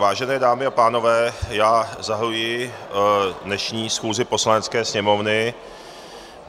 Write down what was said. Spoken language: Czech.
Vážené dámy a pánové, já zahajuji dnešní schůzi Poslanecké sněmovny.